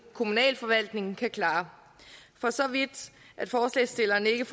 kommunal forvaltning kan klare for så vidt at forslagsstillerne ikke